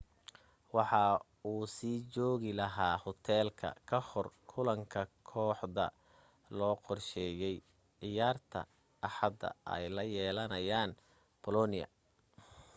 waxa uu sii joogi lahaa hoteelka ka hor kulanka kooxda loo qorsheeyay ciyaarta axada ay la yeelanayaan bolonia